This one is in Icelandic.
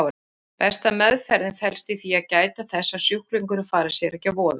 Besta meðferðin felst í því að gæta þess að sjúklingurinn fari sér ekki að voða.